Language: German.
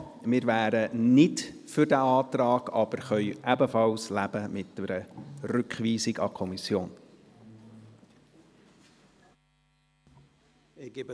Wir wären nicht für diesen Antrag, könnten aber ebenfalls mit einer Rückweisung an die Kommission leben.